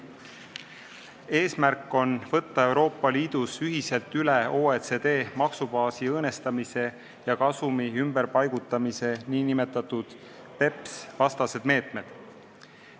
Eesmärk on võtta Euroopa Liidus ühiselt üle OECD maksubaasi õõnestamise ja kasumi ümberpaigutamise vastased meetmed.